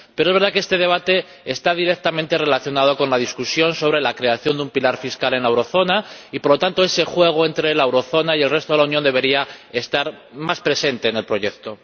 Pero es verdad que este debate está directamente relacionado con la discusión sobre la creación de un pilar fiscal en la zona del euro y, por lo tanto, ese juego entre la zona del euro y el resto de la Unión debería estar más presente en el proyecto.